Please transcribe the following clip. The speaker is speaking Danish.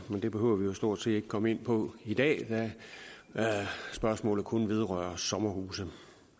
men det behøver vi jo stort set ikke komme ind på i dag da spørgsmålet kun vedrører sommerhuse